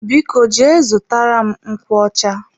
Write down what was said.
Biko jee zụtara m nkwocha.